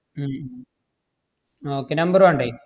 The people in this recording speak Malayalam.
ഉം ഉം ആഹ് okay number വേണ്ടേ?